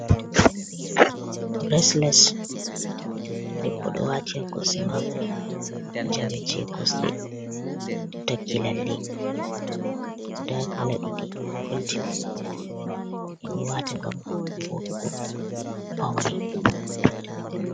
Bilesles, debbo ɗo wati ha kosɗe mako, jawe jekosɗe takki lalle, nda kala ɗiɗi goldin, ɓeɗo wata ngam voɗugo pawne.